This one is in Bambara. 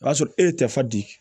O y'a sɔrɔ e ye tɛfan di